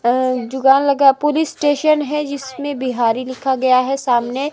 और जुगान लगा पुरिस स्टेशन है जिसमें बिहारी लिखा गया है सामने--